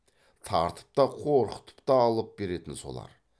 тартып та қорқытып та алып беретін солар